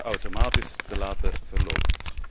automatisch te laten verlopen.